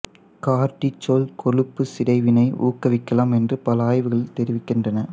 cortisol கொழுப்புச் சிதைவினை ஊக்குவிக்கலாம் என்று பல ஆய்வுகள் தெரிவிக்கின்றன